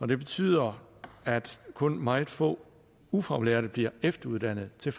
det betyder at kun meget få ufaglærte bliver efteruddannet til